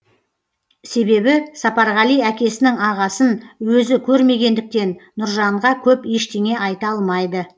себебі сапарғали әкесінің ағасын өзі көрмегендіктен нұржанға көп ештене айта алмайды